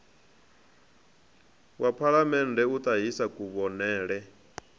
wa phalamennde u ṱahisa kuvhonele